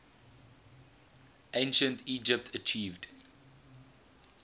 ancient egypt achieved